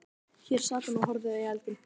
Hér sat hún og horfði í eldinn.